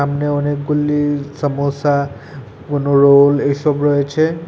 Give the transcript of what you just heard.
সামনে অনেকগুলি সমোসা কোনো রোল এসব রয়েছে এ --